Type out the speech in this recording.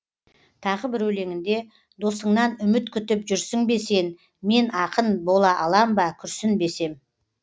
тағы бір өлеңінде досыңнан үміт күтіп жүрсің бе сен мен ақын бола алам ба күрсінбесем